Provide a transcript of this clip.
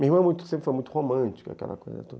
Minha irmã é muito, sempre foi muito romântica, aquela coisa toda.